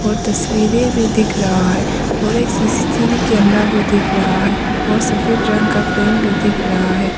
और तस्वीरें भी दिख रहा है और एक सी_सी_टी_वी कैमरा भी दिख रहा है और सफेद रंग का फैन भी दिख रहा है।